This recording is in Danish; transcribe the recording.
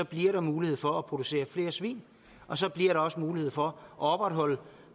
bliver mulighed for at producere flere svin og så bliver der også mulighed for at opretholde